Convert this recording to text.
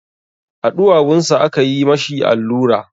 A ɗuwawunsa aka yi ma shi allura.